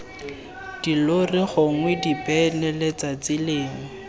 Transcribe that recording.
dilori gongwe dibene letsatsi lengwe